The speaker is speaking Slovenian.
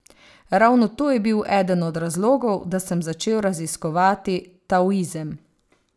Ravno to je bil eden od razlogov, da sem začel raziskovati taoizem.